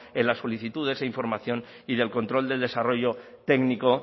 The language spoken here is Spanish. en la solicitud de esa información y del control del desarrollo técnico